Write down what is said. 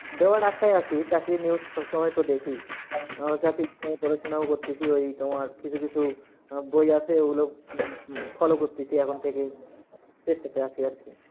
দেওয়ার আশায় আছি, চাকরির news সবসময়ই তো দেখি। উম চাকরি নিয়ে পড়াশোনাও করতেসি, ওই তোমার কিছু কিছু আহ বই আসে ওইগুলো উম উম follow করতেসি এখন থেকেই চেষ্টাতে আসি আর কি।